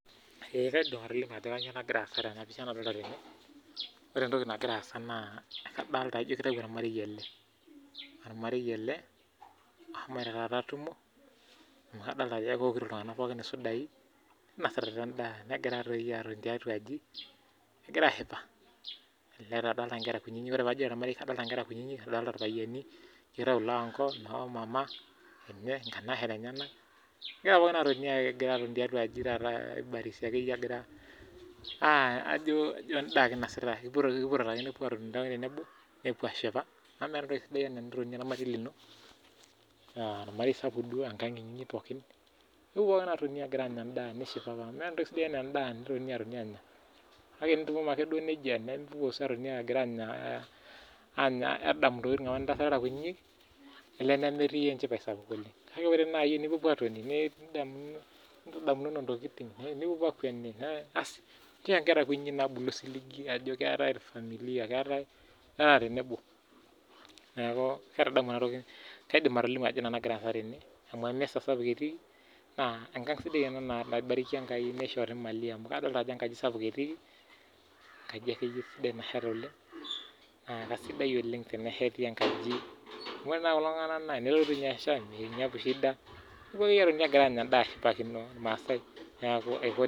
Eekaidim atolimu ajo kanyio nagira aasa tene ashu nadolta tene ore entoki nagira aasa ijo kadolita ormarei tene ormarei eleosho atumo adolta ajo keokito sudai ninasita si endaa amu egira atoni tiatua aji egira ashipa elelek taa nkera kutitik ore pajito ormarei na kadolta nkera kutitik nadolita irpayiani kitau loanko lomama egira pookin atoni tiatua aji aibarisi akeyie ajo endaa ake inosita epuo atoni tenebo nepuo ashipa amu meeta entoki sidai anaa enitoni ormarei lino nipuopuo pookin apuo ashipa amu meeta entoki sidai ena endaa enipuopuo anya kake enipuo puo atoni agira anya adamu ntokitin nitaasa irara kutitik nemetii enchipae sapuk oleng kake ore nai pipopuo atoni nidamu nintadamunoto nitokini ninchocho nkera kutitik osiligi ajo keetae familia irara tenebo kaidimbatolimu ajo kanyio nagira aasa tene na enkang sapuk ena naishoo mali amu adolta ajo enkaji akeyie nasheta esidai na kesidai oleng enesheti enkaji amu ore nau kulo tunganak na enetum shida neponu ashipakino irmaasa